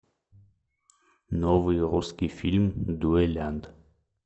новый русский фильм дуэлянт